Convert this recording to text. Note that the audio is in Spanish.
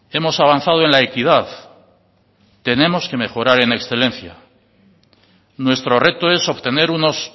hemos avanzado en la equidad tenemos que mejorar en excelencia nuestro reto es obtener unos